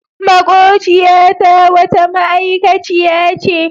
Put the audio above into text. Maƙociyata wata ma'aikaciya ce.